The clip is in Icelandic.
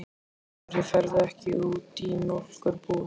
Af hverju ferðu ekki út í mjólkur- búð?